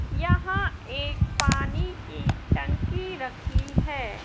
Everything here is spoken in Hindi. यहां एक पानी की टंकी रखी है।